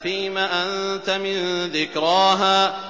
فِيمَ أَنتَ مِن ذِكْرَاهَا